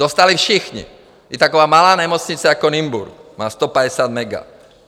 Dostali všichni, i taková malá nemocnice jako Nymburk má 150 mega.